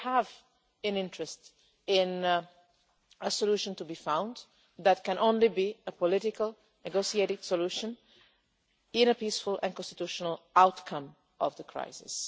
So it is in our interest for a solution to be found. That can only be a political, negotiated solution in a peaceful and constitutional outcome of the crisis.